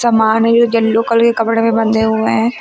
कपड़े भी बंधे हुए हैं।